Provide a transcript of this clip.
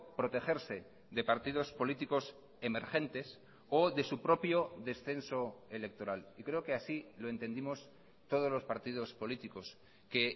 protegerse de partidos políticos emergentes o de su propio descenso electoral y creo que así lo entendimos todos los partidos políticos que